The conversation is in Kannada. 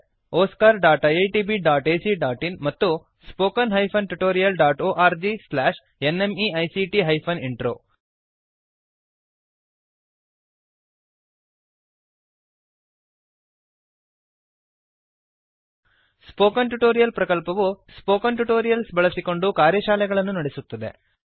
oscariitbacಇನ್ ಮತ್ತು spoken tutorialorgnmeict intro spoken tutorial ಪ್ರಕಲ್ಪವು ಸ್ಪೋಕನ್ ಟ್ಯುಟೋರಿಯಲ್ಸ್ ಬಳಸಿಕೊಂಡು ಕಾರ್ಯಶಾಲೆಗಳನ್ನು ನಡೆಸುತ್ತದೆ